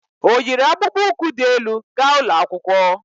O yiri akpụkpó ukwu di elu ga ụlọ akwụkwọ?